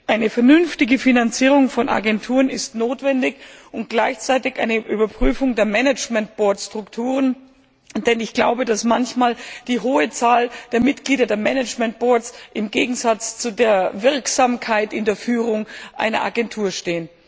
Eine vernünftige Finanzierung von Agenturen ist notwendig und gleichzeitig eine Überprüfung der Management Board Strukturen, denn ich glaube, dass manchmal die hohe Zahl der Mitglieder der Management Boards im Gegensatz zu der Wirksamkeit der Führung einer Agentur steht.